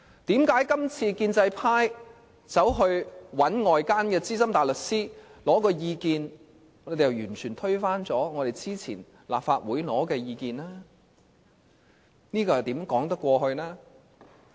為甚麼建制派今次尋求外間的資深大律師意見後，便完全推翻立法會之前所取得的意見？